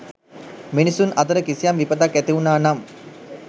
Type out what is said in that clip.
මිනිසුන් අතර කිසියම් විපතක් ඇති වුණා නම්